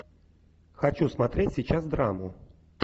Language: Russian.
хочу смотреть сейчас драму